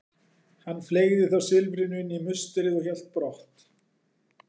Hann fleygði þá silfrinu inn í musterið og hélt brott.